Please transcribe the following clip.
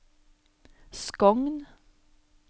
Skogn